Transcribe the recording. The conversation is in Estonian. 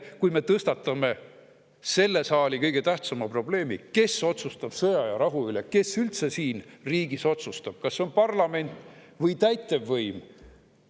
Kui me tõstatame selle saali kõige tähtsama probleemi – kes otsustab sõja ja rahu üle, kes üldse siin riigis otsustab, kas parlament või täitevvõim?